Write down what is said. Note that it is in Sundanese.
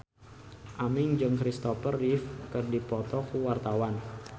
Aming jeung Christopher Reeve keur dipoto ku wartawan